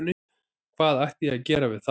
Hvað ætti ég að gera við þá?